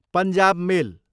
Punjab मेल